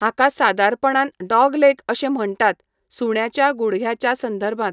हाका सादारणपणान 'डॉग्लेग' अशें म्हण्टात, सुण्याच्या गुडघ्याच्या संदर्भांत.